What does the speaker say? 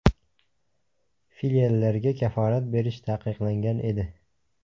Filiallarga kafolat berish taqiqlangan edi.